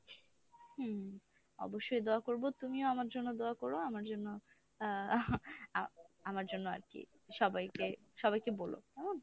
হম অবশ্যই দোয়া করবো তুমিও আমার জন্য দোয়া করো আমার জন্য আমার জন্য আর কি সবাইকে সবাইকে বোল কেমন?